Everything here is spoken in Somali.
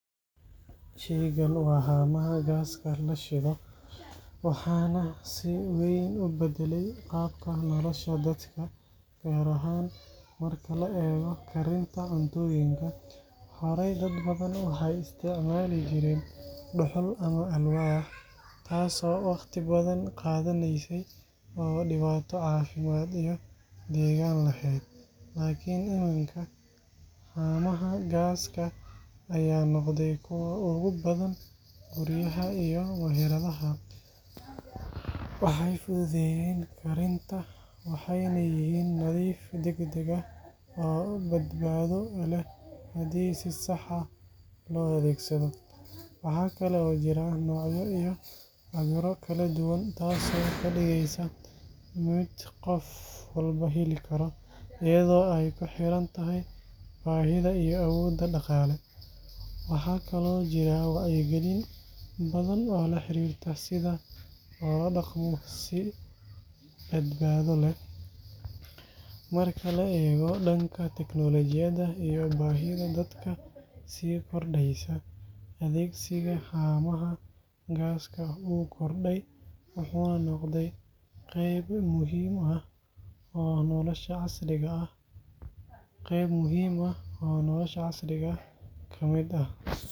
Shaygan waa haamaha gaaska la shido, waxaana si weyn u beddelay qaabka nolosha dadka, gaar ahaan marka la eego karinta cuntooyinka. Horey, dad badan waxay isticmaali jireen dhuxul ama alwaax, taas oo wakhti badan qaadanaysay oo dhibaato caafimaad iyo deegaan lahayd. Laakiin iminka, haamaha gaaska ayaa noqday kuwa ugu badan guryaha iyo meheradaha. Waxay fududeeyeen karinta, waxayna yihiin nadiif, degdeg ah, oo badbaado leh haddii si sax ah loo adeegsado. Waxa kale oo jira noocyo iyo cabbirro kala duwan, taasoo ka dhigaysa mid qof walba heli karo, iyadoo ay ku xiran tahay baahida iyo awoodda dhaqaale. Waxaa kaloo jira wacyigelin badan oo la xiriirta sida loola dhaqmo si badbaado leh. Marka la eego dhanka teknoolajiyadda iyo baahida dadka sii kordhaysa, adeegsiga haamaha gaaska wuu kordhay, wuxuuna noqday qayb muhiim ah oo nolosha casriga ah ka mid ah.